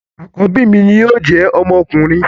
Àkọ́bí mi ni yóò jẹ́ ọmọkùnrin